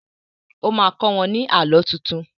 O má kọ́ wọ́n ní Àlọ́ tuntun